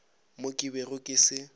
mo ke bego ke se